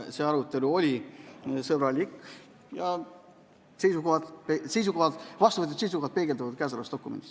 See arutelu oli sõbralik ja vastuvõetud seisukohad peegelduvad kõnealuses dokumendis.